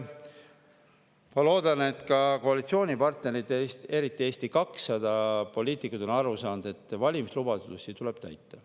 Ma loodan, et ka koalitsioonipartnerid, eriti Eesti 200 poliitikud, on aru saanud, et valimislubadusi tuleb täita.